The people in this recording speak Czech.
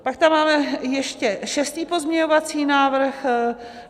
Pak tam máme ještě šestý pozměňovací návrh.